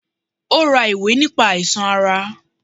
Ó ra ìwé nípa àìsàn ara